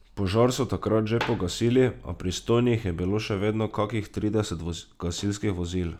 Požar so takrat že pogasili, a prisotnih je bilo še vedno kakih trideset gasilskih vozil.